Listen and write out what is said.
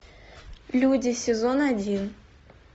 люди сезон один